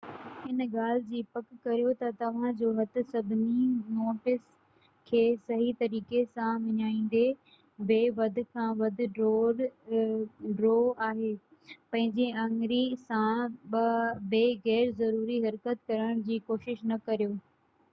ان ڳالهہ جي پڪ ڪريو تہ توهان جو هٿ سڀني نوٽس کي صحيح طريقي سان وڃائيندي بہ وڌ کان وڌ ڍرو آهي پنهنجي آڱرين سان بہ غير ضروري حرڪت ڪرڻ جي ڪوشش نہ ڪريو